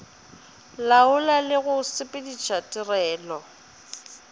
laola le go sepediša tirelo